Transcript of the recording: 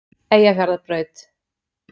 Eyjafjarðarbraut